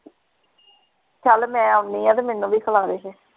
ਚੱਲ ਮੈਂ ਆਉਣੀ ਹਾਂ ਤੇ ਮੈਨੂੰ ਵੀ ਖਿਲਾਦੇ ਫੇਰ।